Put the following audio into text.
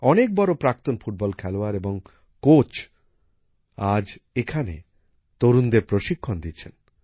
অনেক বড় প্রাক্তন ফুটবল খেলোয়াড় এবং প্রশিক্ষক আজ এখানে তরুণদের প্রশিক্ষণ দিচ্ছেন